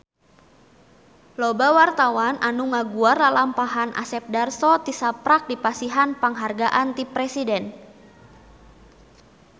Loba wartawan anu ngaguar lalampahan Asep Darso tisaprak dipasihan panghargaan ti Presiden